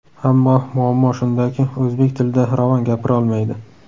Ammo muammo shundaki, o‘zbek tilida ravon gapirolmaydi.